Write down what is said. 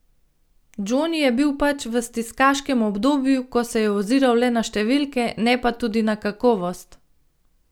Džoni je bil pač v stiskaškem obdobju, ko se je oziral le na številke, ne pa tudi na kakovost.